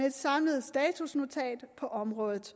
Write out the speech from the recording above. et samlet statusnotat på området